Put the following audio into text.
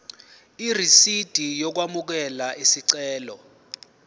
irisidi lokwamukela isicelo